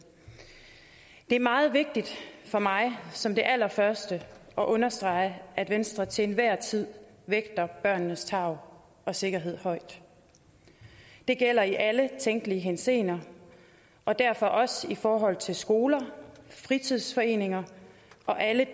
er meget vigtigt for mig som det allerførste at understrege at venstre til enhver tid vægter børnenes tarv og sikkerhed højt det gælder i alle tænkelige henseender og derfor også i forhold til skoler fritidsforeninger og alle